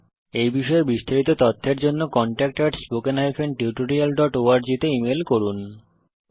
এই বিষয়ে বিস্তারিত তথ্যের জন্য contactspoken tutorialorg তে ইমেল করুন